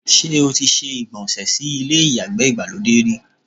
Ṣé́ o ti se ìgbọ̀nsẹ̀ sí ilé ìyàgbẹ́ ìgbàlódé rí?